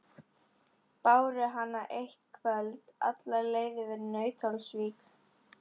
Báru hana eitt kvöld alla leið yfir í Nauthólsvík.